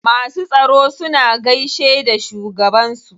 Masu tsaro suna gaishe da shugaban su.